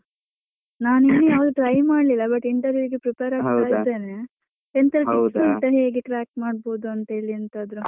ನಾನ್ ಇನ್ನು ಯಾವುದು try ಮಾಡ್ಲಿಲ್ಲ but interview ಗೆ prepare ಆಗ್ತಾ ಇದ್ದೇನೆ. ಎಂತಾರು ಉಂಟಾ ಹೇಗೆ track ಮಾಡ್ಬೋದು ಅಂತೇಳಿ ಎಂತಾದ್ರು